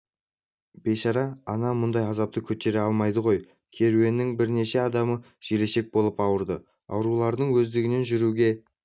бейшара ана мұндай азапты көтере алмайды ғой керуеннің бірнеше адамы желшешек болып ауырды аурулардың өздігінен жүруге